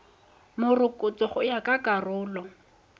morokotso go ya ka karolo